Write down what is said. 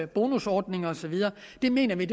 bonusordninger og så videre mener vi